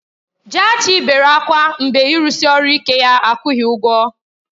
Jaachii bere ákwá mgbe ịrụsi ọrụ ike ya akwụghị ụgwọ.